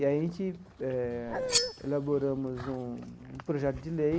E a gente eh elaboramos um um projeto de lei